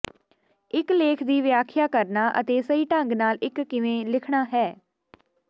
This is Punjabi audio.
ਇਕ ਲੇਖ ਦੀ ਵਿਆਖਿਆ ਕਰਨਾ ਅਤੇ ਸਹੀ ਢੰਗ ਨਾਲ ਇਕ ਕਿਵੇਂ ਲਿਖਣਾ ਹੈ